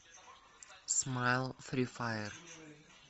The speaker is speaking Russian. смайл фри фаер